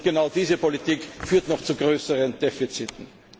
Und genau diese Politik führt zu noch größeren Defiziten.